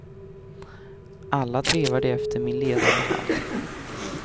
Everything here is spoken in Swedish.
Alla trevar de efter min ledande hand.